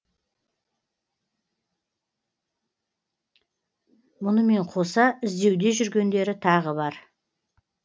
мұнымен қоса іздеуде жүргендері тағы бар